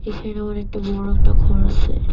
এখানে অনেকটা বড় একটা ঘর আসে।